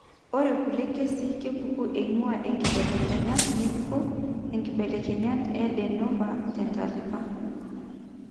ore kulie kesii kepuku eing'ua inkibelekenyat ng'ejuko (inkibelekenyat en de novo) tentalipa eRUNX2